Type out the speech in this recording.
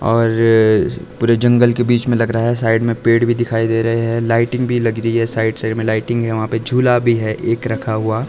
और पूरे जंगल के बीच में लग रहा है साइड में पेड़ भी दिखाई दे रहे हैं लाइटिंग भी लग रही है साइड साइड में लाइटिंग है वहां पे झूला भी है एक रखा हुआ।